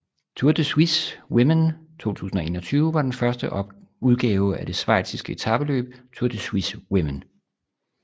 Tour de Suisse Women 2021 var den første udgave af det schweiziske etapeløb Tour de Suisse Women